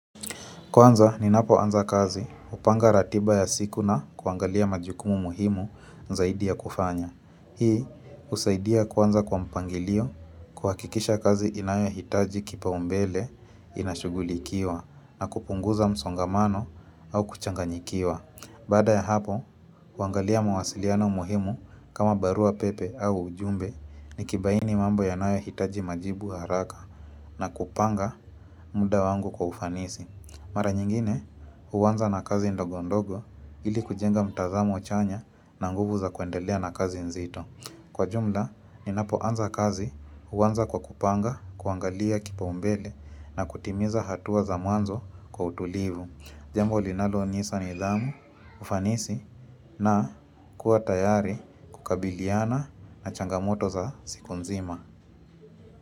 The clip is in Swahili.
Kwanza ninapoanza kazi hupanga ratiba ya siku na kuangalia majukumu muhimu zaidi ya kufanya. Hii usaidia kwanza kwa mpangilio kuhakikisha kazi inayo hitaji kipaumbele inashugulikiwa na kupunguza msongamano au kuchanganyikiwa. Baada ya hapo, huangalia mawasiliano muhimu kama barua pepe au ujumbe ni kibaini mambo ya inayohitaji majibu haraka na kupanga muda wangu kwa ufanisi. Mara nyingine, huanza na kazi ndogondogo ili kujenga mtazamo chanya na nguvu za kuendelea na kazi nzito. Kwa jumla, ninapoanza kazi huanza kwa kupanga, kuangalia kipaumbele na kutimiza hatua za mwanzo kwa utulivu. Jambo linaloonyesha nidhamu, ufanisi na kuwa tayari kukabiliana na changamoto za siku nzima.